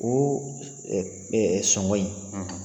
N ko sɔngɔ in